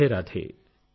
Radhe Radhe